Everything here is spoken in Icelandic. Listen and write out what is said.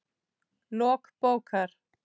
Lok bókar